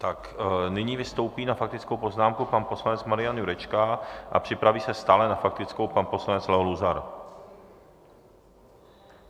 Tak nyní vystoupí na faktickou poznámku pan poslanec Marian Jurečka a připraví se stále na faktickou pan poslanec Leo Luzar.